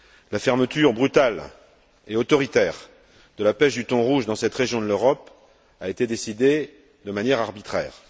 La fermeture brutale et autoritaire de la pêche du thon rouge dans cette région de l'Europe a été décidée de manière arbitraire.